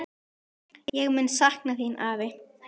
Ég mun sakna þín, afi.